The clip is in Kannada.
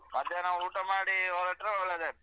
ಮಧ್ಯಾಹ್ನ ಊಟ ಮಾಡಿ ಹೊರಟ್ರೆ ಒಳ್ಳೇದಾಯ್ತು.